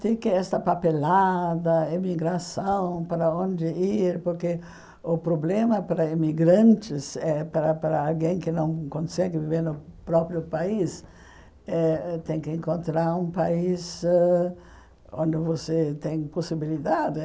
tem que essa papelada, emigração, para onde ir, porque o problema para emigrantes, eh para para alguém que não consegue viver no próprio país, é tem que encontrar um país onde você tem possibilidade.